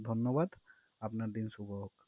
ধন্যবাদ আপনার দিন শুভ হোক